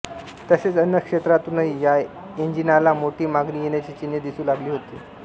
तसेच अन्य क्षेत्रांतूनही या एंजिनाला मोठी मागणी येण्याची चिन्हे दिसू लागली होती